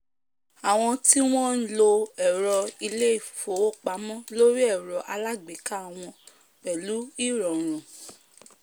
àwọn tí wọ́n lo ẹ̀rọ ilé- ìfowópamọ́ lórí ẹ̀rọ alágbéká wọn pẹ̀lú ìrọ̀rùn